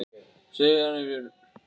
Hvað segir Arnbjörg um þessa gagnrýni?